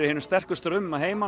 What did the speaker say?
finnum sterka strauma að heiman